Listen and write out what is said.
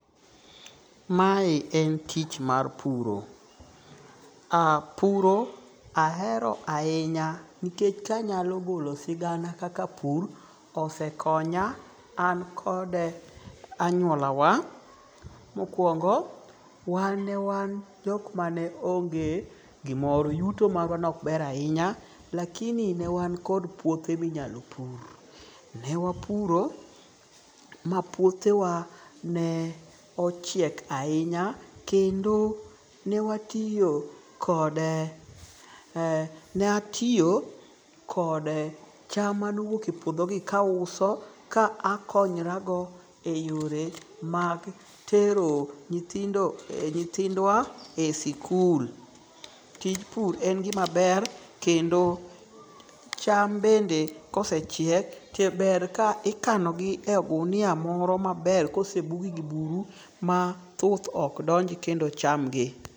Ma en tich mar puro. Puro ahero ahinya nikech kanyalo golo sigana kaka pur osekonya an kode anyuola wa. Mokwongo wan ne wan jok mane onge gimoro. Yuto marwa ne ok ber ahinya. Lakini ne wan kod puothe minyalo pur. Ne wapuro ma puothe wa ne ochiek ahinya kendo newatiyo kode ne atiyo kod cham mane owuok e puodho ni ka auso ka akonyorago e yore mag tero nyithindo nyithindwa e sikul. Tij pur en gima ber kendo cham bende kosechiek to ber ka ikano gi e odunia moro maber kosebuge gi buru ma thuth ok donj kendo chamgi.